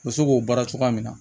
U bɛ se k'o baara cogoya min na